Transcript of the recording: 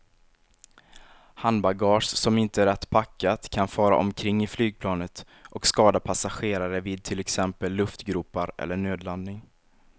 Handbagage som inte är rätt packat kan fara omkring i flygplanet och skada passagerare vid till exempel luftgropar eller nödlandning.